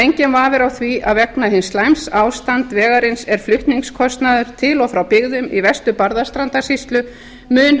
enginn vafi er á því að vegna hin slæma ástands vegarins er flutningskostnaður til og frá byggðum í vestur barðastrandarsýslu mun